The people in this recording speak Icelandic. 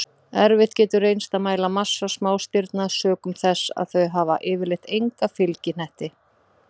Erfitt getur reynst að mæla massa smástirna sökum þess að þau hafa yfirleitt enga fylgihnetti.